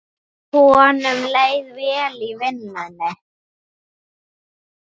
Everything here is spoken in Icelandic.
Honum leið vel í vinnu.